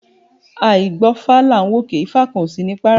A àí gbọ́fá là ń wòkè, ifá kan kò sí ní párá